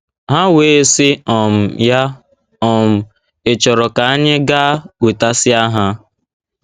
Ha wee sị um ya, um ‘ Ị̀ chọrọ ka anyị gaa wetasia ha?